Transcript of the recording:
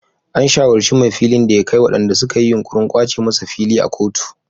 An shawarci mai filin da ya kai waɗanda suka yi yunkurin kwace masa fili a kotu.